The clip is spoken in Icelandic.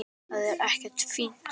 Það er ekkert fínt.